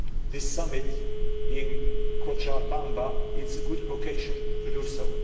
This Summit in Cochabamba is a good occasion to do so.